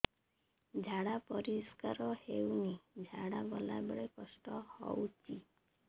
ଝାଡା ପରିସ୍କାର ହେଉନି ଝାଡ଼ା ଗଲା ବେଳେ କଷ୍ଟ ହେଉଚି